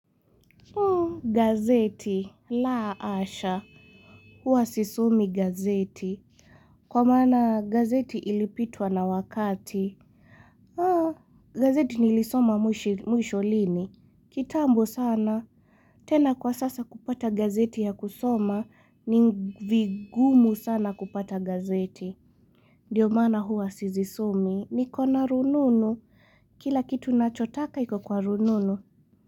Gazeti, la asha, hua sisomi gazeti Kwa maana gazeti ilipitwa na wakati gazeti nilisoma mwisho lini kitambo sana, tena kwa sasa kupata gazeti ya kusoma ni vigumu sana kupata gazeti Ndiyo maana hua sizisomi, nikona rununu Kila kitu nachotaka iko kwa rununu.